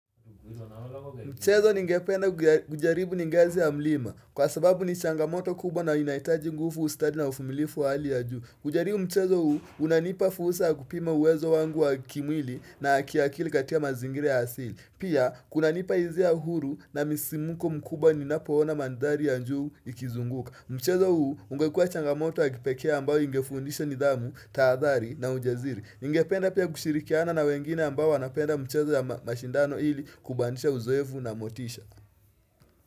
Mchezo ningependa ujaribu ni ngazi ya mlima Kwa sababu ni changamoto kubwa na inahitaji nguvu ustadi na uvumilifu wa hali ya juu ujaribu mchezo huu unanipa fursa ya kupima uwezo wangu wa kimwili na ya kiakili katika mazingira ya asili Pia kunanipa hisia huru na msisimko mkubwa ninapo ona mandhari ya juu ikizunguka Mchezo huu ungekua changamoto wa kipekee ambao ingefundisha nidhamu, tahadhari na ujasiri Ningependa pia kushirikiana na wengine ambao wanapenda mchezo ya mashindano ili kubanisha uzoevu na motisha.